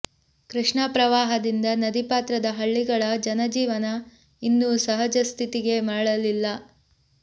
ಕೃಷ್ಣಾ ಪ್ರವಾಹದಿಂದ ನದಿ ಪಾತ್ರದ ಹಳ್ಳಿಗಳ ಜನಜೀವನ ಇನ್ನೂ ಸಹಜ ಸ್ಥಿತಿಗೆ ಮರಳಿಲ್ಲ